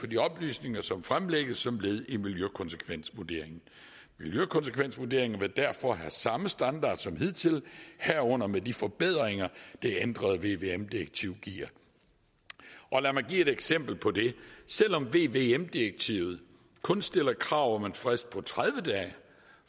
de oplysninger som fremlægges som led i miljøkonsekvensvurderingen miljøkonsekvensvurderingen vil derfor have samme standard som hidtil herunder med de forbedringer det ændrede vvm direktiv giver lad mig give et eksempel på det selv om vvm direktivet kun stiller krav om en frist på tredive dage